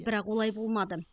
бірақ олай болмады